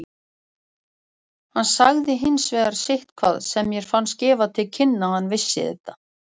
Hann sagði hins vegar sitthvað sem mér fannst gefa til kynna að hann vissi þetta.